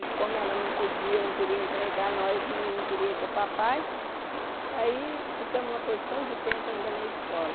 E como ela não podia, não queria entregar nós, nenhum queria ir com o papai, aí ficamos uma porção de tempo ainda na escola.